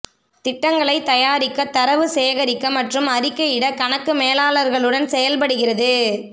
திட்டங்களை தயாரிக்க தரவு சேகரிக்க மற்றும் அறிக்கையிட கணக்கு மேலாளர்களுடன் செயல்படுகிறது